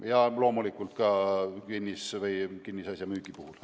Ja loomulikult ka kinnisasja müügi puhul.